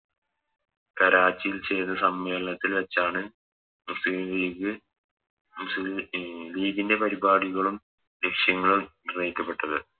കറാച്ചിയിൽ ചേർന്ന സമ്മേളനത്തിൽ വെച്ചാണ് മുസ്ലിം ലീഗ് അഹ് ലീഗിൻറെ പരിപാടികളും വിഷയങ്ങളും തെളിയിക്കപ്പെട്ടത്